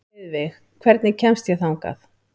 Heiðveig, hvernig kemst ég þangað?